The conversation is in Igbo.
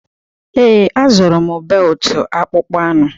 Ee, a zụrụ m beltụ akpụkpọ anụ.